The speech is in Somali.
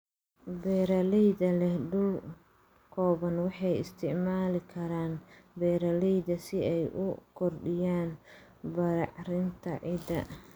Beeralayda leh dhul kooban waxay isticmaali karaan beeralayda si ay u kordhiyaan bacrinta ciidda.